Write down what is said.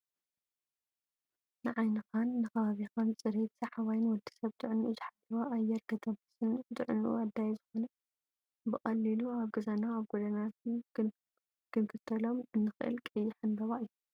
ንዓይንኻን ንኸባቢ ፅሬትን ሰሓባይን ወድሰብ ጥዕንኡ ዝሓለወ ኣየር ከተንፍስን ንጥዕንኡ ኣድላይ ዝኾነ ብቐሊሉ ኣብ ገዛናን ኣብ ጎደናታትን ክንተኽሎም እንኽእል ቀይሕ ዕምበባ እዩ።